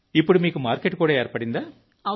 ఇప్పుడు మీకు మార్కెట్ కూడా ఏర్పడిందా